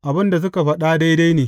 Abin da suka faɗa daidai ne.